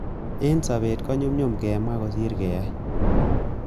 En sobet, ko nyumyum kemwa kosir keyai.